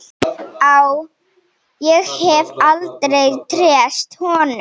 Ég hef aldrei treyst honum.